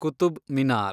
Qutub Minar